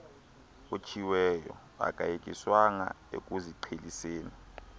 otshiweyo akayekiswanga ekuziqheliseni